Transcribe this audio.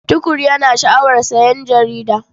Tukur yana sha'awar sayen jarida.